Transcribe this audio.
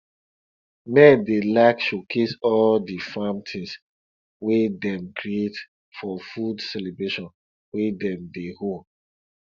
men dey like showcase all di farm things wey dem create for food celebration wey dem dey hold